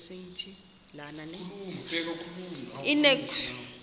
inewenkwe umnwe yaphinda